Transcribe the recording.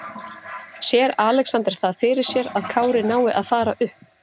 Sér Alexander það fyrir sér að Kári nái að fara upp?